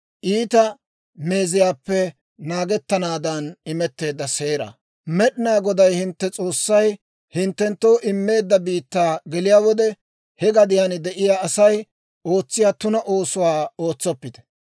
«Med'inaa Goday hintte S'oossay hinttenttoo immeedda biittaa geliyaa wode, he gadiyaan de'iyaa Asay ootsiyaa tuna oosuwaa ootsoppite.